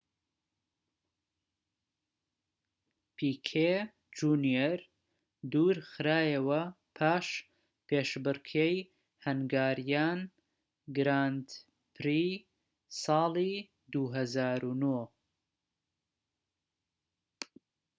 پیکێ جونیەر دوور خرایەوە پاش پێشبڕكێی هەنگاریان گراند پری-ساڵی ٢٠٠٩